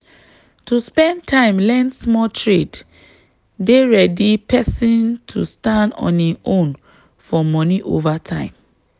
to spend time learn small trade dey ready person to stand on im own for money over time.